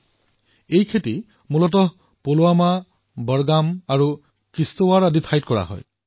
কাশ্মীৰি কেশৰ মুখ্য ৰূপত পুলৱামা বডগাম আৰু কিশ্তৱাড়ৰ দৰে ঠাইত উৎপাদন কৰা হয়